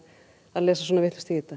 að lesa svona vitlaust í þetta